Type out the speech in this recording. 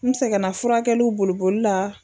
N sɛgɛnna furakɛliw boliboli la.